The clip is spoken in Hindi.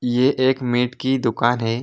ये एक मीट की दुकान है।